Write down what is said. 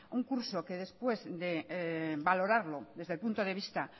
un curso que después de valorarlo desde el punto de vista